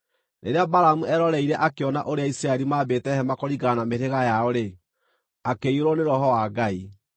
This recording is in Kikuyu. Rĩrĩa Balamu eroreire akĩona ũrĩa Isiraeli maambĩte hema kũringana na mĩhĩrĩga yao-rĩ, akĩiyũrwo nĩ Roho wa Ngai,